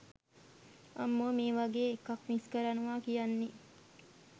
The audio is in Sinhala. අම්මෝ මේ වගේ එකක් මිස් කරනව කියන්නේ